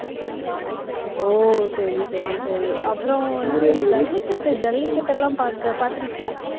ஓ, சரி, சரி, சரி அப்புறம் வந்துட்டு இந்த ஜல்லிக்கட்டு ஜல்லிக்கட்டு எல்லாம் பார்க்க பார்த்திருக்கியா